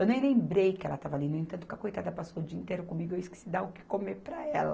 Eu nem lembrei que ela estava ali, no entanto, que a coitada passou o dia inteiro comigo e eu esqueci de dar o que comer para ela.